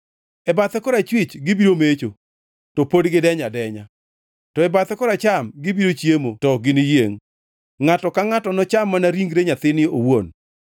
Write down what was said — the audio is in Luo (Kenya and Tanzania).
E bathe korachwich gibiro mecho to pod gidenyo adenya; to e bathe koracham gibiro chiemo to ok giniyiengʼ. Ngʼato ka ngʼato nocham mana ringre nyathine owuon.